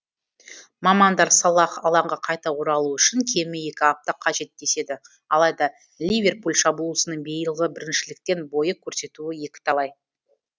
мамандар салах алаңға қайта оралуы үшін кемі екі апта қажет деседі алайда ливерпуль шабуылшысының биылғы біріншіліктен бойы көрсетуі екіталай